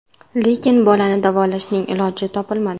Lekin bolani davolashning iloji topilmadi.